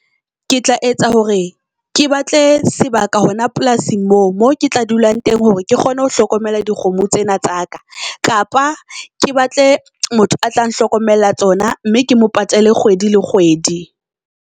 Ke tla etsa hore ke batle sebaka hona polasing moo, mo ke tla dulang teng hore ke kgone ho hlokomela di kgomo tsena tsa ka. Kapa ke batle motho a tla nhlokomella tsona mme ke mo patale kgwedi le kgwedi.